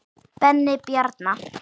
Benni Bjarna.